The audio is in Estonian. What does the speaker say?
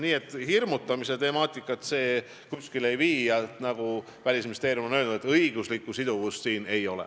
Nii et hirmutamise temaatika kuskile ei vii ja nagu Välisministeerium on öelnud, õiguslikku siduvust siin ei ole.